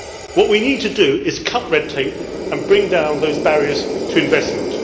What we need to do is cut red tape and bring down those barriers to investment.